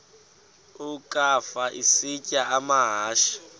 ukafa isitya amahashe